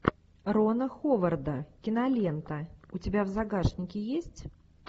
рона ховарда кинолента у тебя в загашнике есть